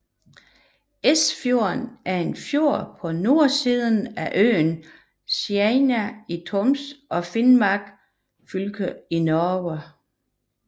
Ersfjorden er en fjord på nordsiden af øen Senja i Troms og Finnmark fylke i Norge